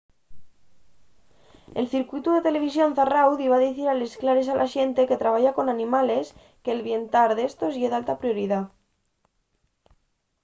el circuitu de televisión zarráu diba dicir a les clares a la xente que trabaya con animales que’l bientar d’éstos ye d’alta prioridá.